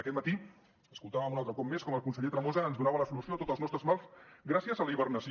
aquest matí escoltava un altre cop més com el conseller tremosa ens donava la solució a tots els nostres mals gràcies a la hibernació